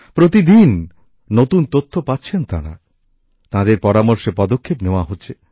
প্রতিদিন নতুন তথ্য পাচ্ছেন তাঁরা তাঁদের পরামর্শে পদক্ষেপ নেওয়া হচ্ছে